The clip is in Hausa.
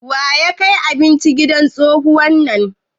Wa ya kai abinci gidan tsohuwar nan?